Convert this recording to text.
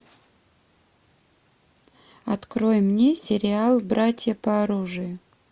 открой мне сериал братья по оружию